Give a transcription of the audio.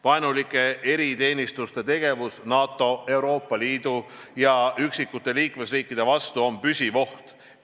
Vaenulike eriteenistuste tegevus NATO, Euroopa Liidu ja üksikute liikmesriikide vastu on püsiv oht.